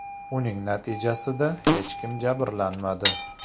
Uning natijasida hech kim jabrlanmadi.